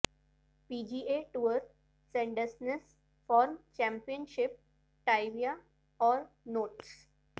P G A tour Sanderson Farms championship ٹائیویا اور notice